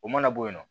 O mana bɔ yen nɔ